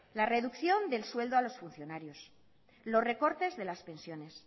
la reducción del sueldo a los funcionarios los recortes de las pensiones